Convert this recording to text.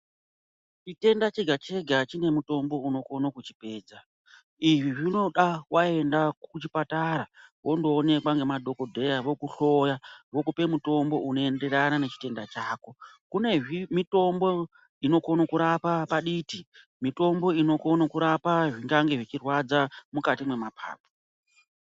Chitenda chega chega chine mutombo unokhone kuchipedza. Izvi zvinoda wayenda kuchipatara undowonekwa ngemadhokodheya vokuhloya , vokupe mutombo unoyenderana nechitenda chako. Kune mitombo inokone kurapa paditi, mitombo inokhone kurapa zvingange zvichirwadza mukati memaphaphu.